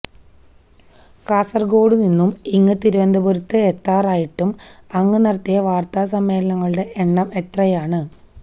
കാസര്ഗോഡ് നിന്നും ഇങ്ങ് തിരുവനന്തപുരത്ത് എത്താറായിട്ടും അങ്ങ് നടത്തിയ വാര്ത്താസമ്മേളനങ്ങളുടെ എണ്ണം എത്രയാണ്